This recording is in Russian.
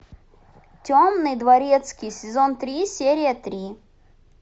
темный дворецкий сезон три серия три